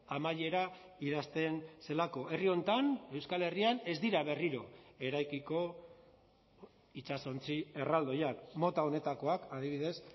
amaiera idazten zelako herri honetan euskal herrian ez dira berriro eraikiko itsasontzi erraldoiak mota honetakoak adibidez